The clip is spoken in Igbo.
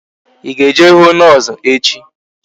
Ị ga-eje hụ noosu echi?